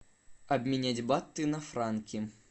обменять баты на франки